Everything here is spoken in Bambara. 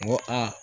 N ko aa